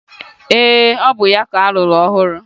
Ee, ọ bụ ya ka alụrụ ọhụrụ